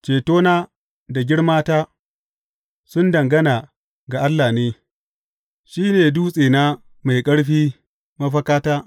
Cetona da girmata sun dangana ga Allah ne, shi ne dutsena mai ƙarfi, mafakata.